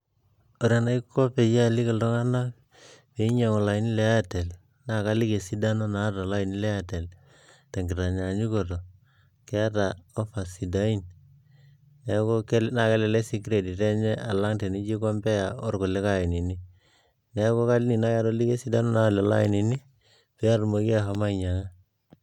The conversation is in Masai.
Ore enaiko peyie aliki iltung'anak peinyiang'u ilainini le airtel naa kaliki esidano naata olaini le airtel tenkitanyaanyukoto keeta offers sidain neeku naa kelelek sii credit enye tenijo ae compare orkulikay ainini neeku kaidin naaji atoliki esidano naata lelo ainini peatumoki ahom ainyiang'a.